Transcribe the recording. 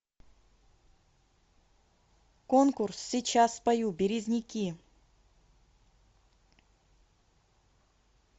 конкурс сейчас спою березники